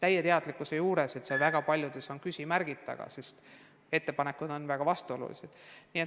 Õige mitmel teemal on muidugi küsimärgid taga, sest ettepanekud on väga vastuolulised.